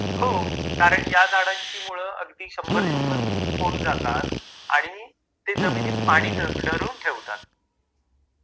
हो कारण ह्या झाडांची मुळ अगदी शंभर शंभर फुट खोल जातात आणि ते जमिनीत पाणी धरून ठेवतात...